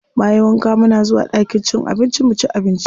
Bayan wanka muna zuwa ɗakin cin abinci muci abinci.